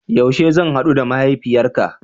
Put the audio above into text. Yaushe zan hadu da mahaifiyarka?